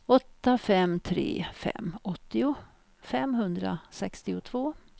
åtta fem tre fem åttio femhundrasextiotvå